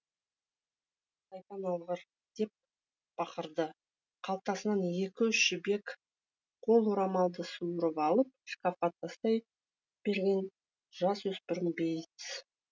сайтан алғыр деп бақырды қалтасынан екі үш жібек қол орамалды суырып алып шкафқа тастай берген жасөспірім бейтс